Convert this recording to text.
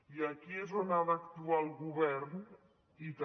i aquí és on ha d’actuar el govern i també